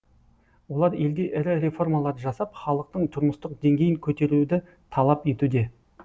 олар елде ірі реформалар жасап халықтың тұрмыстық деңгейін көтеруді талап етуде